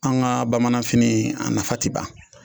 An ka bamananfini a nafa ti ban